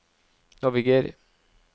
naviger